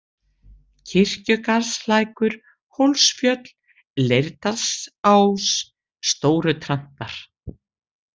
Kirkjugarðslækur, Hólsfjöll, Leirdalsás, Stórutrantar